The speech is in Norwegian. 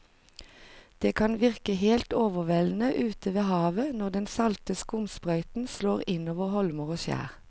Det kan virke helt overveldende ute ved havet når den salte skumsprøyten slår innover holmer og skjær.